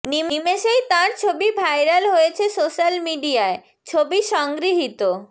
নিমেষেই তাঁর ছবি ভাইরাল হয়েছে সোশ্যাল মিডিয়ায় ছবি সংগৃহীত